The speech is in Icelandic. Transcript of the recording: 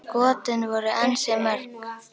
Skotin voru ansi mörg.